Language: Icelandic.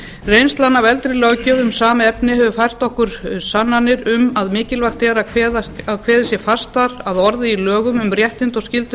reynslan af eldri löggjöf um sama efni hefur fært okkur sannanir um að mikilvægt er að kveðið sé fastar að orði í lögum um réttindi og skyldur